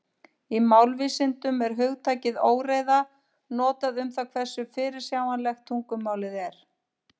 Í málvísindum er hugtakið óreiða notað um það hversu fyrirsjáanlegt tungumálið er.